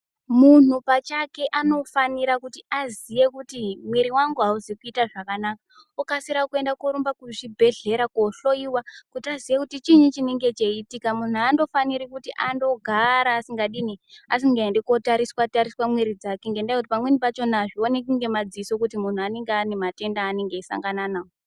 Munhu pachake anofanira kuti aziye kuti mwiri wangu hauzi kuita zvakanaka okasira korumba kuzvibhehlera kohlowiwa kuti aziye kuti chinyi chinenge cheiitika. Munhu andofaniri kuti andogara asingadini asingaendi kotariswa-tariswa mwiri dzake ngendaa yekuti pamweni pachona azvioneki ngemadziso kuti munhu anenge ane matenda anenge eisangana nawo.